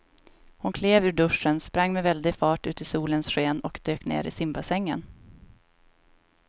Hon klev ur duschen, sprang med väldig fart ut i solens sken och dök ner i simbassängen.